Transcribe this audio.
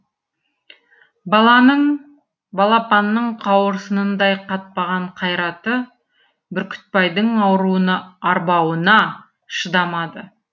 баланың балапанның қауырсынындай қатпаған қайраты бүркітбайдың ауруына арбауына шыдамады